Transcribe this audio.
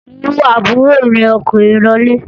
Mú àbúrò rẹ ọkùnrin lọlé!